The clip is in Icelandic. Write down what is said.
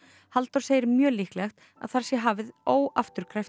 Halldór segir mjög líklegt að þar sé hafið óafturkræft